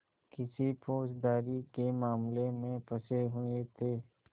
किसी फौजदारी के मामले में फँसे हुए थे